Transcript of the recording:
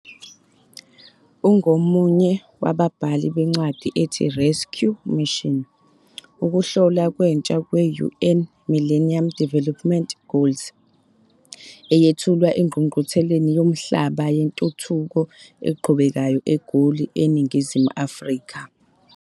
Ungomunye wababhali bencwadi ethi, 'Rescue Mission', ukuhlola kwentsha kwe-UN's Millennium Development Goals eyethulwa eNgqungqutheleni Yomhlaba Yentuthuko Eqhubekayo eGoli eNingizimu Afrika.